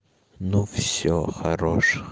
ну всё хорош